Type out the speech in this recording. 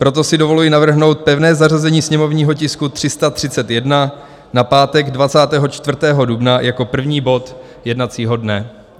Proto si dovoluji navrhnout pevné zařazení sněmovního tisku 331 na pátek 24. dubna jako první bod jednacího dne.